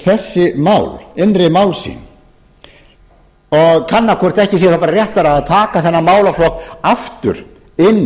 þessi mál innri mál sín og kanna hvort ekki sé bara réttara að taka þennan málaflokk aftur inn